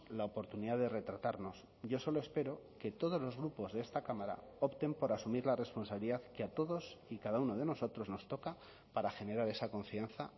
la oportunidad de retratarnos yo solo espero que todos los grupos de esta cámara opten por asumir la responsabilidad que a todos y cada uno de nosotros nos toca para generar esa confianza